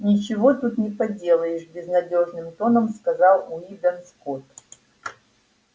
ничего тут не поделаешь безнадёжным тоном сказал уидон скотт